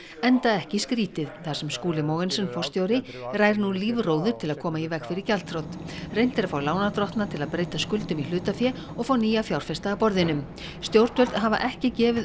enda ekki skrýtið þar sem Skúli Mogensen forstjóri rær nú lífróður til að koma í veg fyrir gjaldþrot reynt er að fá lánardrottna til að breyta skuldum í hlutafé og fá nýja fjárfesta að borðinu stjórnvöld hafa ekki gefið